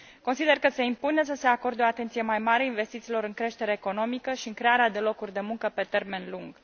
Consider că se impune să se acorde o atenție mai mare investițiilor în creștere economică și în crearea de locuri de muncă pe termen lung.